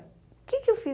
O que é que eu fiz?